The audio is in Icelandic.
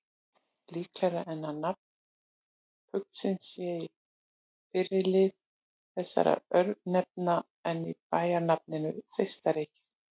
Líklegra er að nafn fuglsins sé í fyrri lið þessara örnefna en í bæjarnafninu Þeistareykir.